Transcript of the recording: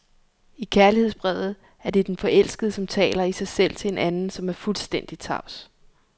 I kærlighedsbrevet er det den forelskede, som taler i sig selv til en anden, som er fuldstændig tavs.